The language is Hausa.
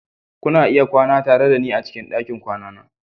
Kuna iya kwana tare da ni a cikin ɗakin kwana na